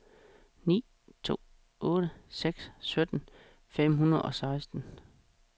ni to otte seks sytten fem hundrede og seksten